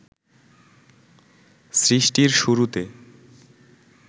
সৃষ্টির শুরুতে